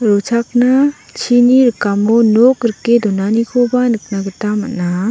rochakna chini rikamo nok rike donanikoba nikna gita man·a.